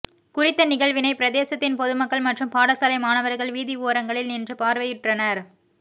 குறித்த நிகழ்வினை பிரதேசத்தின் பொதுமக்கள் மற்றும் பாடசாலை மாணவர்கள் வீதி ஒரங்களில் நின்று பார்வையுற்றனர்